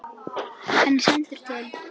Hann er sendur til